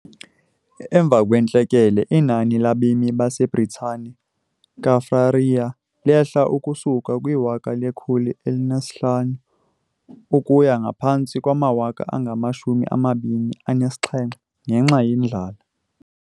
Emva kwentlekele, inani labemi baseBritane Kaffraria lehla ukusuka kwiwaka lekhulu elinesihlanu ukuya ngaphantsi kwamawaka angamashumi amabini anesixhenxe ngenxa yendlala.